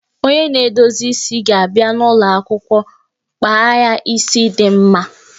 Onye na-edozi isi ga-abia n'ụlọ akwụkwọ kpa ya isi dị mma